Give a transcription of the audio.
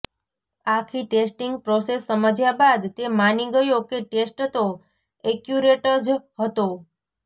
આખી testing process સમજ્યા બાદ તે માની ગયો કે ટેસ્ટ તો એક્યુરેટ જ હતો